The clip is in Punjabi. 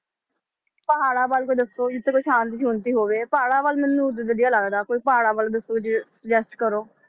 ਪਹਾੜਾਂ ਬਾਰੇ ਕੁਛ ਦੱਸੋ, ਜਿੱਥੇ ਕੋਈ ਸ਼ਾਂਤੀ ਸ਼ੂੰਤੀ ਹੋਵੇ, ਪਹਾੜਾਂ ਵੱਲ ਮੈਨੂੰ ਵਧੀਆ ਲੱਗਦਾ, ਕੋਈ ਪਹਾੜਾਂ ਵੱਲ ਦੱਸੋ ਜੇ suggest ਕਰੋ।